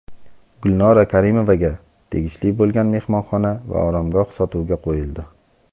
Gulnora Karimovaga tegishli bo‘lgan mehmonxona va oromgoh sotuvga qo‘yildi.